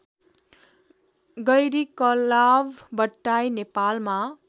गैरीकलाव बट्टाई नेपालमा